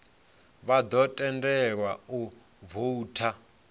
vha ḓo tendelwa u voutha